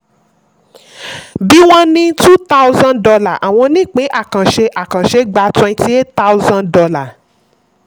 bí wọ́n ní two thousand dollar àwọn ọnípín àkànṣe àkànṣe gba twenty eight thousand dollar